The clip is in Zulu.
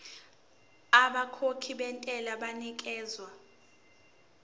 abakhokhi bentela banikezwa